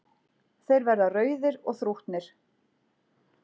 Þeir verða rauðir og þrútnir.